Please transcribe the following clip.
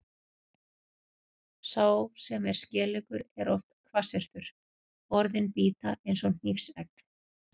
Sá sem er skeleggur er oft hvassyrtur, orðin bíta eins og hnífsegg.